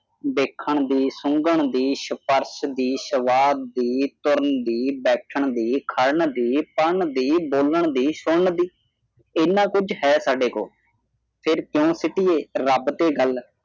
ਦੇਖਣ ਦੀ ਸੁਗੰਨ ਦੀ ਸਪਰਸ਼ ਦੀ ਸੰਵਾਦ ਦੀ ਤੁਰਨ ਦੀ ਬੈਠਣ ਦੀ ਖੜਨ ਦੀ ਪੜ੍ਹਨ ਦੀ ਬੋਲਣ ਦੀ ਸੁਣਨ ਦੀ ਇਹਨਾਂ ਕੁਝ ਹੈ ਸਾਡੇ ਕੋਲ ਫੇਰ ਕਿਉਂ ਸੁੱਟੀਏ ਰੱਬ ਤੇ ਗੱਲ।